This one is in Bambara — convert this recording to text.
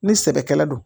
Ni sɛbɛkɛla don